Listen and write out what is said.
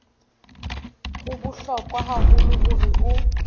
ho bohlokwa haholo hore o